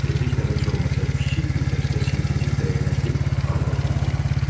Tezliklə heç olmasa kiçik bir dəstə sintetik dəyənəkli hazırlamaq lazımdır.